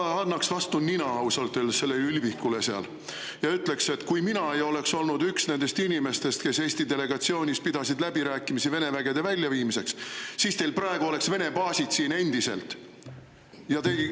No ma annaks ausalt öeldes vastu nina sellele ülbikule seal ja ütleksin, et kui mina ei oleks olnud üks nendest inimestest, kes Eesti delegatsiooni kuuludes pidasid läbirääkimisi Vene vägede väljaviimiseks, siis oleks Vene baasid endiselt siin.